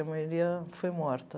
A maioria foi morta.